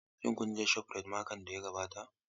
Shin kun je shofrayit makon da ya gabata?